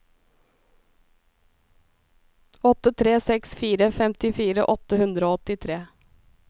åtte tre seks fire femtifire åtte hundre og åttitre